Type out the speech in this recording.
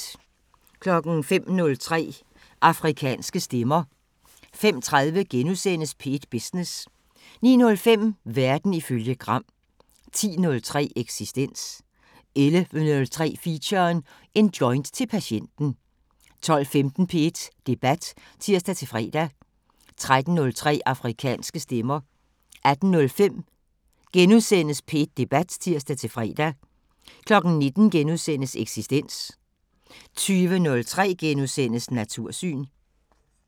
05:03: Afrikanske Stemmer 05:30: P1 Business * 09:05: Verden ifølge Gram 10:03: Eksistens 11:03: Feature: En joint til patienten 12:15: P1 Debat (tir-fre) 13:03: Afrikanske Stemmer 18:05: P1 Debat *(tir-fre) 19:00: Eksistens * 20:03: Natursyn *